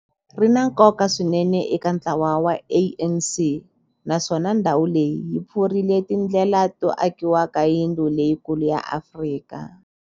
Ri na nkoka swinene eka ntlawa wa ANC, naswona ndhawu leyi yi pfurile tindlela to akiwa ka yindlu leyikulu ya Afrika.